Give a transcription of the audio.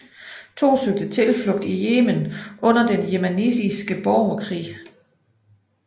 To søgte tilflugt i Yemen under den yemenitiske borgerkrig